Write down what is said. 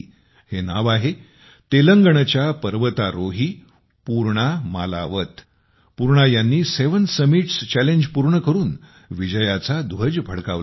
हे नाव आहे तेलंगणाच्या पर्वतारोही पूर्णा मालावथ पूर्णा यांनी सेवेन समिटस् चॅलेंज पूर्ण करून विजयाचा ध्वज फडकवला आहे